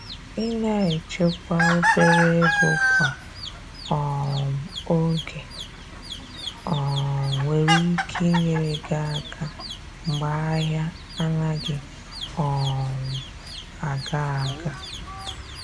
Ina echekwa obere ego kwa um oge um nwere ike inyere gi aka mgbe ahia anaghị um aga aga.